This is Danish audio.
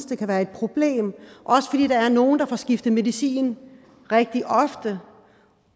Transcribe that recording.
det kan være et problem også fordi der er nogle der får skiftet medicin rigtig ofte